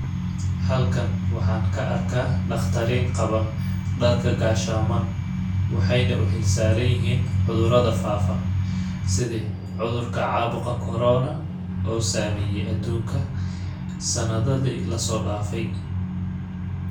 Halkan waxaan ka arkaa dhaqtariin qaba dharka gaashaman ,waxeeyna u xil saaran yihiin cudurada faafa ,sidi cudurka caabuqa [cs[corona oo saameeye aduunka sanadadii lasoo dhaafay.